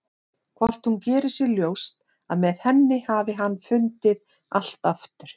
Hvort hún geri sér ljóst að með henni hafi hann fundið allt aftur?